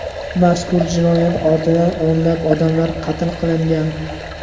Mazkur jinoyat ortidan o‘nlab odamlar qatl qilingan.